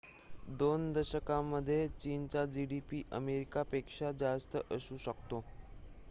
२ दशकांमध्ये चीनचा gdp अमेरिकेपेक्षा जास्त असू शकतो